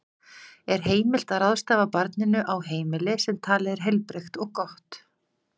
Er heimilt að ráðstafa barninu á heimili sem talið er heilbrigt og gott?